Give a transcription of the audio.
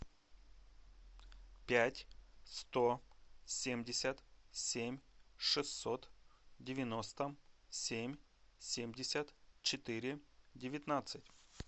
пять сто семьдесят семь шестьсот девяносто семь семьдесят четыре девятнадцать